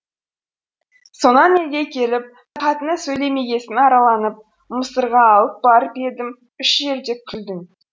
сонан елге келіп қатыны сөйлемегесін арланып мысырға алып барып едім үш жерде күлдің